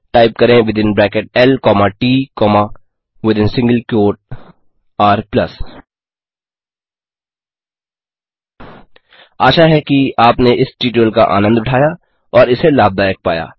type करें within bracket l comma t comma within single quote r आशा है कि आपने इस ट्यूटोरियल का आनन्द उठाया और इसे लाभदायक पाया